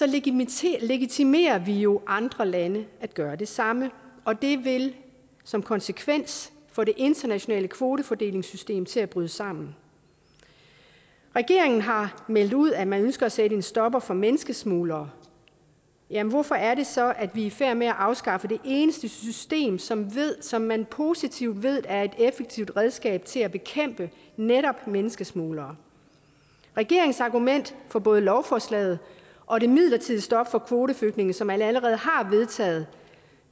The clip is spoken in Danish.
legitimerer legitimerer vi jo andre lande i at gøre det samme og det vil som konsekvens få det internationale kvotefordelingssystem til at bryde sammen regeringen har meldt ud at man ønsker at sætte en stopper for menneskesmuglere jamen hvorfor er det så at vi er i færd med at afskaffe det eneste system som som man positivt ved er et effektivt redskab til at bekæmpe netop menneskesmuglere regeringens argument for både lovforslaget og det midlertidige stop for kvoteflygtninge som man allerede har vedtaget